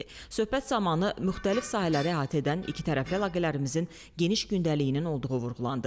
Söhbət zamanı müxtəlif sahələri əhatə edən ikitərəfli əlaqələrimizin geniş gündəliyinin olduğu vurğulandı.